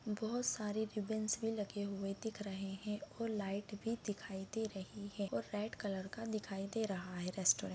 बहुत सरे रिबन्स भी लगे दिख रहे हैं और लाइट भी दिखाई दे रही है और रेड कलर का दिखाई दे रहा है रेस्ट्रॉन्ट ।